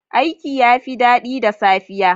Aiki yafi dadi da safiya.